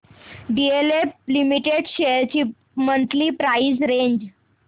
DLF limited shares ची monthly price range